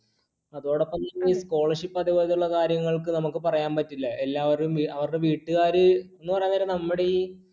അതോടൊപ്പം ഈ scholarship അതുപോലുള്ള കാര്യങ്ങൾക്ക് നമുക്ക് പറയാൻ പറ്റില്ല. എല്ലാവരും അവരുടെ വീട്ടുകാര് എന്നു പറഞ്ഞാൽ നമ്മുടെ ഈ